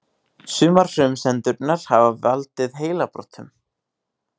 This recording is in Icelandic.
Sumar frumsendurnar hafa valdið heilabrotum.